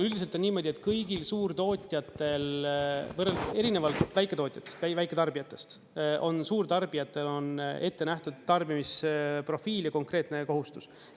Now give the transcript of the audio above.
Üldiselt on niimoodi, et kõigil suurtootjatel erinevalt väiketootjatest, väiketarbijatest on suurtarbijatel ette nähtud tarbimisprofiil ja konkreetne kohustus.